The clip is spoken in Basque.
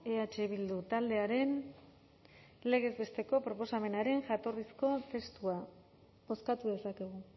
eh bildu taldearen legez besteko proposamenaren jatorrizko testua bozkatu dezakegu